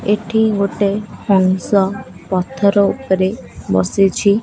ଏଠି ଗୋଟେ ହଂସ ପଥର ଉପରେ ବସିଛି।